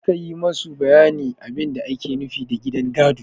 Je ka yi masa bayanin abin da ake nufi da gidan gado!